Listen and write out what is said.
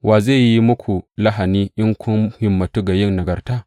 Wa zai yi muku lahani in kun himmantu ga yin nagarta?